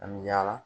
An bɛ yaala